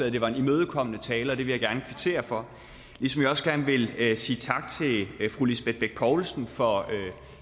at det var en imødekommende tale og det vil jeg gerne kvittere for ligesom jeg også gerne vil vil sige tak til fru lisbeth bech poulsen for